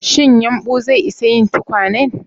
Shin yumɓu zai isa yin tukwanen?